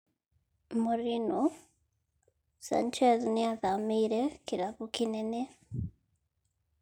Mourinho: Sanchez nĩathamĩire kĩrabu kĩnene.